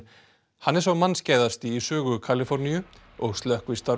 hann er sá í sögu Kaliforníu og slökkvistarf